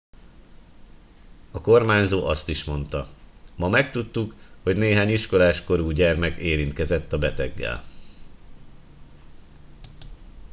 a kormányzó azt is monda ma megtudtuk hogy néhány iskolás korú gyermek érintkezett a beteggel